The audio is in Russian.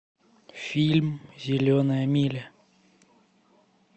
фильм зеленая миля